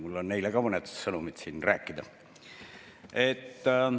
Mul on neile ka siin mõned sõnumid.